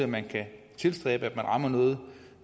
man kan tilstræbe at man rammer noget